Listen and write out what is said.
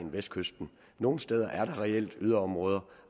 vestkysten nogle steder er reelt yderområder